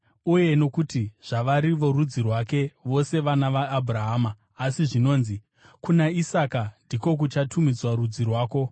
Uye nokuti zvavari vorudzi rwake, vose vana vaAbhurahama. Asi zvinonzi, “Kuna Isaka ndiko kuchatumidzwa rudzi rwako.”